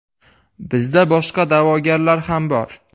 Bizda boshqa da’vogarlar ham bor.